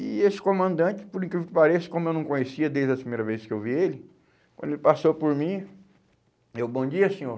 E esse comandante, por incrível que pareça, como eu não conhecia desde a primeira vez que eu vi ele, quando ele passou por mim, eu, bom dia, senhor.